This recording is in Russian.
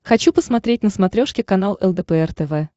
хочу посмотреть на смотрешке канал лдпр тв